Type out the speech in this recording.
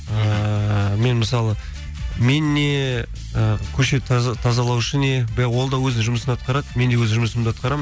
ыыы мен мысалы мен не ы көше тазалаушы не ол да өзінің жұмысын атқарады мен де өз жұмысымды атқарамын